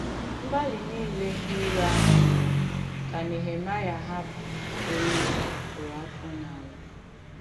Mgbàlì nìlè ndí ìrò àhụ̄ mèrè kà Nèhèmàịà hàpụ̀ òrù ya kùrù àfọ̀ n’àlà.